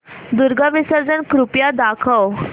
दुर्गा विसर्जन कृपया दाखव